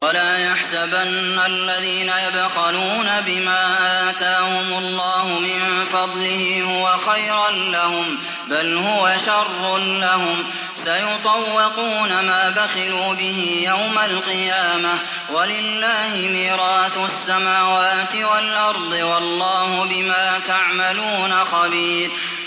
وَلَا يَحْسَبَنَّ الَّذِينَ يَبْخَلُونَ بِمَا آتَاهُمُ اللَّهُ مِن فَضْلِهِ هُوَ خَيْرًا لَّهُم ۖ بَلْ هُوَ شَرٌّ لَّهُمْ ۖ سَيُطَوَّقُونَ مَا بَخِلُوا بِهِ يَوْمَ الْقِيَامَةِ ۗ وَلِلَّهِ مِيرَاثُ السَّمَاوَاتِ وَالْأَرْضِ ۗ وَاللَّهُ بِمَا تَعْمَلُونَ خَبِيرٌ